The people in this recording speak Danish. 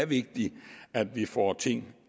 vigtigt at vi får ting